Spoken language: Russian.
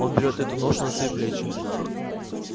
он берет эту ношу на свои плечи